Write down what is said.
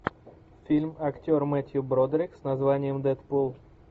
фильм актер мэттью бродерик с названием дэдпул